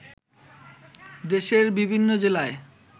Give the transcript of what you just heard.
দেশের বিভিন্ন জেলায়